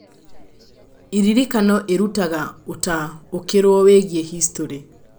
Iririkano irutaga ũtaũkĩrũo wĩgiĩ history.